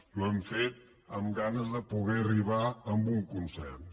i ho hem fet amb ganes de poder arribar a un consens